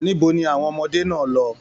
Níbo ni àwọn ọmọdé náà lọ?